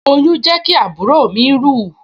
Oyún jẹ́ kí àbúrò mi rù